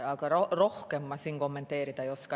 Aga rohkem ma kommenteerida ei oska.